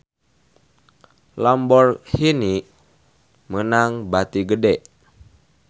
Lamborghini meunang bati gede